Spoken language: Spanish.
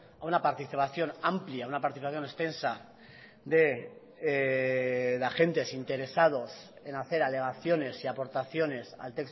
a una participación amplia una participación extensa de agentes interesados en hacer alegaciones y aportaciones al